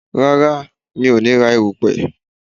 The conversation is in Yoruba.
Rárá, mi ò ní ra èrùpè